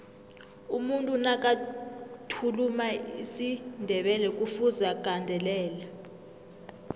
umuntu nakathuluma isindebelekufuze agandelele